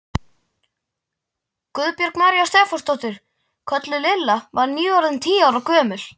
Guðbjörg María Stefánsdóttir, kölluð Lilla, var nýorðin tíu ára gömul.